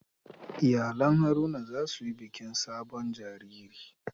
Iyalan Haruna za su yi bikin sabon jariri.